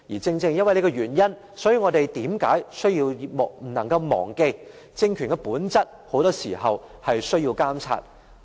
正正因為這個原因，我們不能忘記政權的本質很多時候是需要監察的。